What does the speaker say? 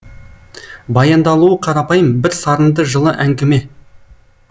баяндалуы қарапайым бір сарынды жылы әңгіме